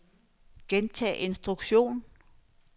gentag instruktion